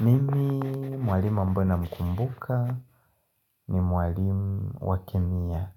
Mimi mwalimu ambaye namkumbuka ni mwalimu wa kemia.